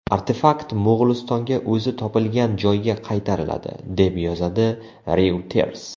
Artefakt Mo‘g‘ulistonga o‘zi topilgan joyga qaytariladi, deb yozadi Reuters.